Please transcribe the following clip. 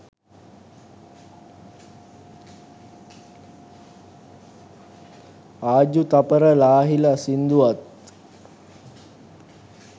ආජු තපර ලාහිල සිංදුවත්